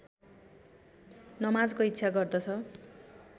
नमाजको इच्छा गर्दछ